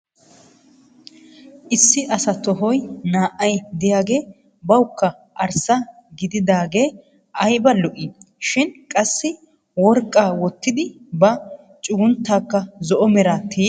Issi asaa tohoy naa"ay diyagee bawukka arssa gididaagee ayiba lo'ii shin qassi worqqa wottidi ba cugunttankka zo'o meraa tiyyi uttis.